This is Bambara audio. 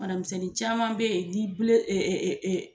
banamisɛnnin caman bɛ yen